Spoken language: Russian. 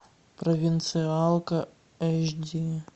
провинциалка эйч ди